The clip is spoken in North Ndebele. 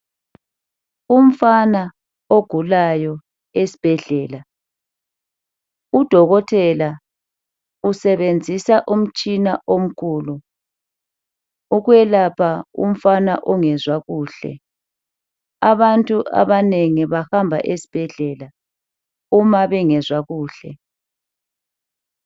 Umfana ogulayo esibhedlela udokotela usebenzisa umtshina omkhulu ukwelapha umfana ongezwa kuhle abantu abanengi bahamba esibhedlela uma bengezwa kuhle.